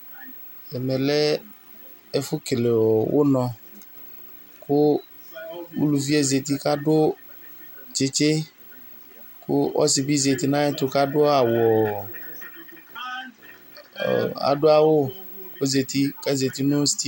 Ɛmɛ lɛ ɛfʋ kele ʋnɔ, kʋ uluvi yɛ zǝti kʋ adu tsɩtsɩ, kʋ ɔsɩ bɩ zǝti nʋ ayɛtʋ kʋ adu awu Adu sitedio